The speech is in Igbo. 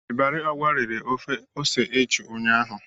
Ibari Ogwa rere ofe ose eju ụnyahụ.